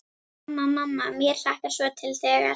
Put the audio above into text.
Mamma, mamma mér hlakkar svo til þegar.